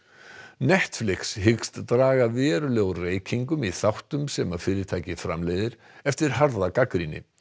Netflix hyggst draga verulega úr reykingum í þáttum sem fyrirtækið framleiðir eftir harða gagnrýni